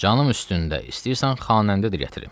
Canım üstündə, istəyirsən xanəndə də gətirim.